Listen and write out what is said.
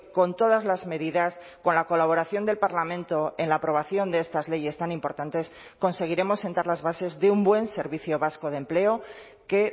con todas las medidas con la colaboración del parlamento en la aprobación de estas leyes tan importantes conseguiremos sentar las bases de un buen servicio vasco de empleo que